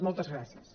moltes gràcies